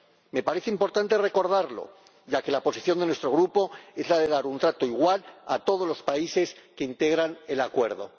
Me parece importante recordarlo ya que la posición de nuestro Grupo es la de dar un trato igual a todos los países que integran el Acuerdo.